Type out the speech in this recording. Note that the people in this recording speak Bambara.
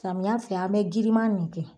Samiya fɛ an be girinma nin kɛ